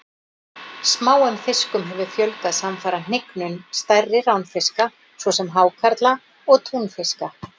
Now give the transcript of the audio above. Smáum fiskum hefur fjölgað samfara hnignun stærri ránfiska svo sem hákarla og túnfiska.